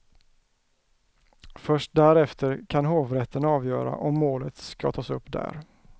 Först därefter kan hovrätten avgöra om målet ska tas upp där.